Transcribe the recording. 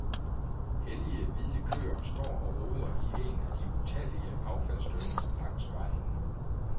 Hellige, hvide køer står og roder i en af de utallige affaldsdynger langs vejen.